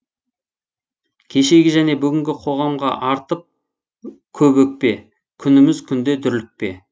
кешегі және бүгінгі қоғамға артып көп өкпе күніміз күнде дүрлікпе